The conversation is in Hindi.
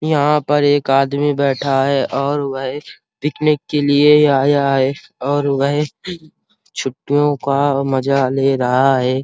यहाँ पर एक आदमी बैठा हुआ है और वह पिकनिक के लिए आया है और वह छुट्टियों का मजा ले रहा है।